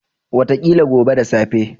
Wataƙila gobe da safe.